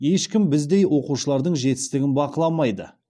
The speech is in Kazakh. ешкім біздей оқушылардың жетістігін бақыламайды